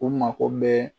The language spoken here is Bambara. U mako bɛ